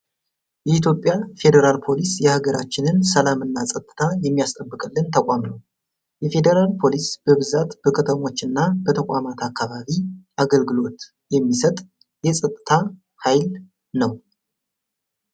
የኢትዮጵያ ፌደራል ፓሊስ የሀገራችንን ሰላም እና ፀጥታ የሚያስጠብቅልን ተቋም ነው። የፌደራል ፓሊስ በብዛት በከተሞች እና በተቋማት አካባቢ አገልግሎት የሚሰጥ የፀጥታ ሀይል ነው።